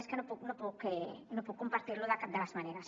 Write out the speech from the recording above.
és que no puc no puc compartir lo de cap de les maneres